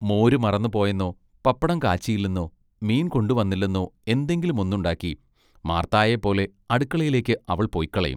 മോരു മറന്നുപൊയെന്നൊ പപ്പടം കാച്ചിയില്ലെന്നൊ മീൻകൊണ്ടു വന്നില്ലെന്നൊ, എന്തെങ്കിലും ഒന്നുണ്ടാക്കി മാർത്തയേ പോലെ അടുക്കളയിലേക്ക് അവൾ പൊയ്ക്കളയും.